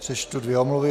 Přečtu dvě omluvy.